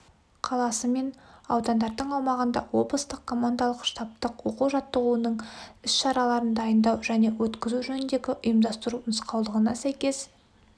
қаласы мен аудандардың аумағында облыстық командалық-штабтық оқу-жаттығудың іс-шараларын дайындау және өткізу жөніндегі ұйымдастыру нұсқаулығына сәйкес